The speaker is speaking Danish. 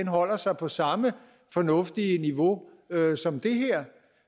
holder sig på samme fornuftige niveau som det her